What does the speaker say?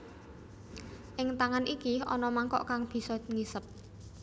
Ing tangan iki ana mangkok kang bisa ngisep